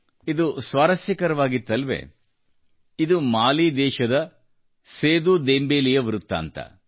ಇದು ಸ್ವಾರಸ್ಯಕರವಾಗಿತ್ತಲ್ಲವೇ ಇದು ಮಾಲಿ ದೇಶದ ಸೇದೂ ದೆಂಬೇಲೆಯ ವೃತ್ತಾಂತ